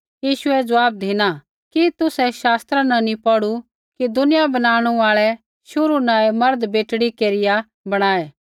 यीशुऐ ज़वाब धिना कि तुसै शास्त्रा न नी पौढ़ू कि दुनिया बनाणु आल़ै शुरू न ऐ मर्द बेटड़ी केरिया बणाऐ